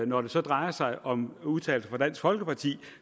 når det så drejer sig om udtalelser fra dansk folkeparti